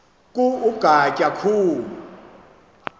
ku ugatya khulu